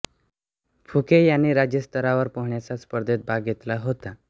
फुके यांनी राज्यस्तरावर पोहण्याच्या स्पर्धेत भाग घेतला होता